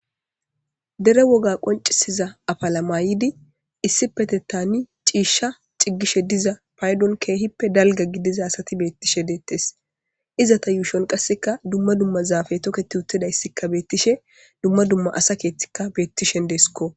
Dere woga qoncisiza afalamayidi issi pete taani ciishsha ciggishe diza paydon keehippe dalga gidiza asati beettishe deettes iza ta yuushon qasseka dumma dumma zaafe toketi uttidayssikka beettishe dumma dumma asa keethtikka beettishen deeskko.